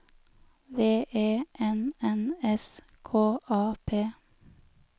V E N N S K A P